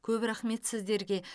көп рақмет сіздерге